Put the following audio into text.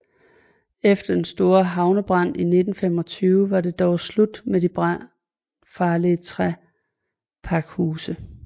Efter den store havnebrand i 1925 var det dog slut med de brandfarlige træpakhuse